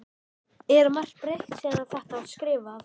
Er margt breytt síðan að þetta var skrifað?